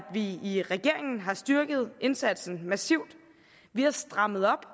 vi i regeringen har styrket indsatsen massivt vi har strammet op